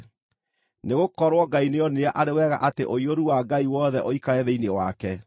Nĩgũkorwo Ngai nĩoonire arĩ wega atĩ ũiyũru wa Ngai wothe ũikare thĩinĩ wake,